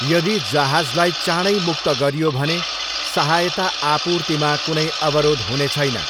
यदि जहाजलाई चाँडै मुक्त गरियो भने, सहायता आपूर्तिमा कुनै अवरोध हुने छैन।